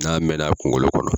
N'a mɛna a kungolo kɔnɔ